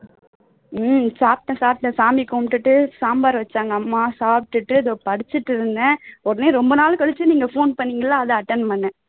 உம் சாப்பிட்டேன் சாப்பிட்டேன் சாமி கும்பிட்டுட்டு சாம்பார் வச்சாங்க அம்மா சாப்பிட்டுட்டு இதோ படிச்சிட்டு இருந்தேன் உடனே ரொம்ப நாள் கழிச்சு நீங்க phone பண்ணுணீங்க இல்ல அதான் attend பண்ணினேன்